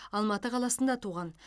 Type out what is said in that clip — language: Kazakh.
алматы қаласында туған